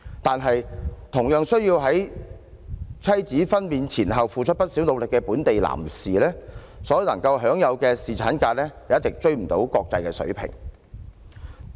可是，同樣需要在妻子分娩前後付出不少努力的本地男士，所能享有的侍產假卻不能追上國際水平。